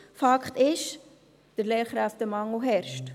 Fakt ist: Der Lehrkräftemangel herrscht.